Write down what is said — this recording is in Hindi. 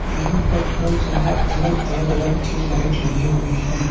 यहां पर हर जगह अलग अलग रंग के लाइट लगे हुई है।